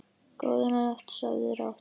Góða nótt, sofðu rótt.